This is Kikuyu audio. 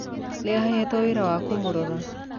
Nĩ ahetwo wĩra wa kũmũrora.